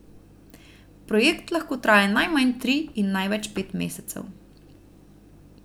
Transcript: Projekt lahko traja najmanj tri in največ pet mesecev.